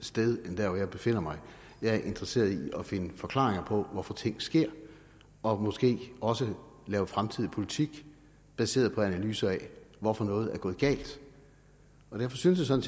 sted end der hvor jeg befinder mig jeg er interesseret i at finde forklaringer på hvorfor ting sker og måske også at lave fremtidig politik baseret på analyser af hvorfor noget er gået galt derfor synes jeg